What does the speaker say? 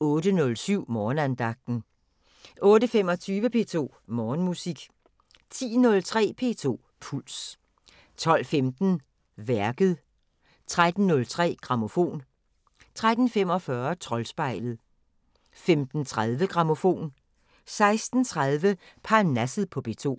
08:07: Morgenandagten 08:25: P2 Morgenmusik 10:03: P2 Puls 12:15: Værket 13:03: Grammofon 13:45: Troldspejlet 15:30: Grammofon 16:30: Parnasset på P2